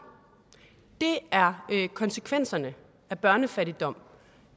det er konsekvenserne af børnefattigdom